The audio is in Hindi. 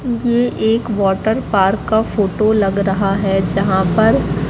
मुझे एक वाटर पार्क का फोटो लग रहा है जहां पर--